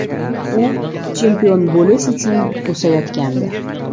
U chempion bo‘lish uchun o‘sayotgandi.